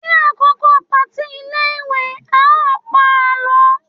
ní àkókò party ilé ìwé, a o pa àlọ